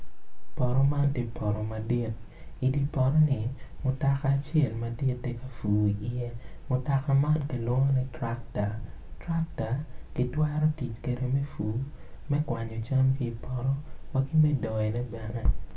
Poto man tye poto madit idi poto ni mutoka acel madit tye ka pur i ye, mutoka man kilwongo ni traktor, trakta kitwero tic kede me pur, mekwanyo can kipoto waki me doyone bene.